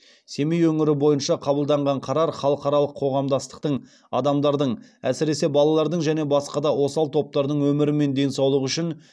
семей өңірі бойынша қабылданған қарар халықаралық қоғамдастықтың адамдардың әсіресе балалардың және басқа да осал топтардың өмірі мен денсаулығы үшін